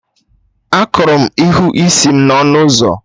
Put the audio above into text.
Akụrụ m ihu isi m n'ọnụ ụzọ